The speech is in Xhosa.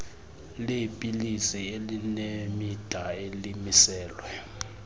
leepilisi elinemida elimiselwe